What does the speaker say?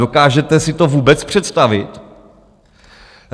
Dokážete si to vůbec představit?